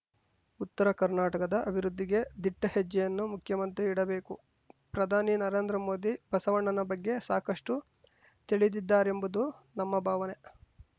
ಉತ್ತರ ಕರ್ನಾಟಕದ ಅಭಿವೃದ್ಧಿಗೆ ದಿಟ್ಟಹೆಜ್ಜೆಯನ್ನು ಮುಖ್ಯಮಂತ್ರಿ ಇಡಬೇಕು ಪ್ರಧಾನಿ ನರೇಂದ್ರ ಮೋದಿ ಬಸವಣ್ಣನ ಬಗ್ಗೆ ಸಾಕಷ್ಟುತಿಳಿದಿದ್ದಾರೆಂಬುದು ನಮ್ಮ ಭಾವನೆ